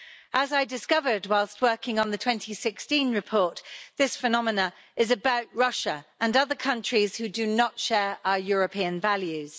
As I discovered whilst working on the 2016 report, this phenomenon is about Russia and other countries who do not share our European values.